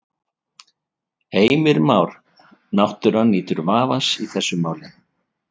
Heimir Már: Náttúran nýtur vafans í þessu máli?